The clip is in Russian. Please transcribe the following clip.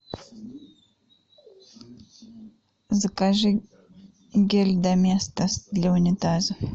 закажи гель доместос для унитазов